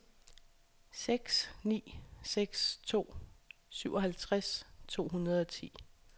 seks ni seks to syvoghalvtreds to hundrede og ti